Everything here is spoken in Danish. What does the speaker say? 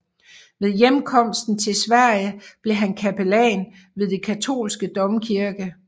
Ved hjemkomsten til Sverige blev han kapellan ved den katolske domkirke St